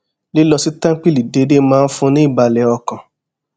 lílọ sí téńpìlì déédéé máa ń fún un ní ìbàlè ọkàn